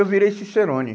Eu virei cicerone.